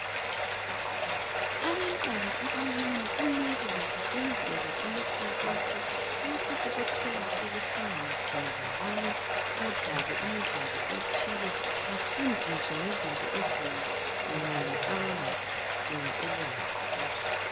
Abantwana abancane kumele labo benzelwe imikhankaso lapho abathola ukuhlangana khona labanye badlale imidlalo ethile bafundiswe ngezinto ezinengi abangadinga ulwazi kuzo.